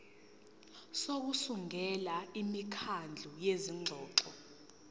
sokusungula imikhandlu yezingxoxo